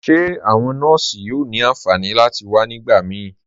Ṣe awọn nọọ̀ṣì yóò ni ánfànì láti wà nígbàmí?